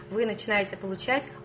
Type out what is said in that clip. вы начинаете получать